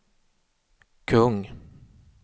kung